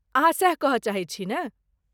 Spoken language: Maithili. अहाँ सैह कहय चाहैत छी ने?